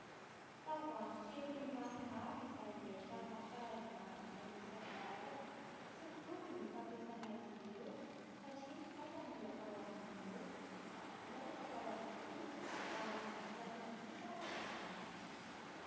Tavoahangy kely maromaro izay ahitana karazana haingo isankarazany ; tsy mitovy ny fampiasana azy ireo satria ny sasany atao amin'ny molotra, ny sasany atao amin'ny hoho ary ny sasany kosa ranomanitra.